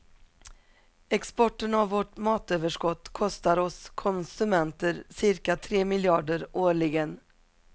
Exporten av vårt matöverskott kostar oss konsumenter cirka tre miljarder årligen.